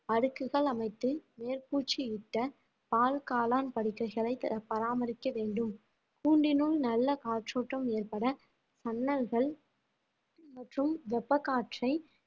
அடுக்குகள் அமைத்து மேற்ப்பூச்சியிட்ட பால் காளான் படுக்கைகளை பராமரிக்க வேண்டும் கூண்டினுள் நல்ல காற்றோட்டம் ஏற்பட ஜன்னல்கள் மற்றும் வெப்ப காற்றை